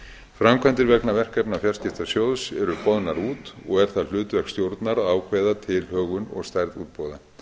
framkvæmdir vegna verkefna fjarskiptasjóðs eru boðnar út og er það hlutverk stjórnar að að ákveða tilhögun og stærð útboða